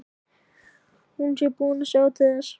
Hún sé búin að sjá til þess.